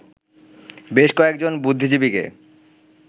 বেশ কয়েকজন বুদ্ধিজীবীকে